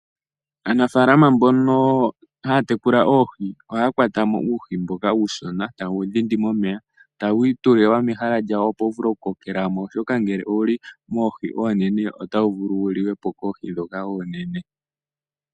Aanafalama mbono haya tekula oohi ohaya kwatamo uuhi mboka uushona taye wu dhindimo momeya tawu itulilwa mehala lyawo opo wuvule okukokelamo oshoka ngele owuli moohi oonenene otawu vulu wulikepo koohi dhoka oonene.